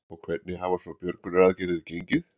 Og hvernig hafa svo björgunaraðgerðir gengi?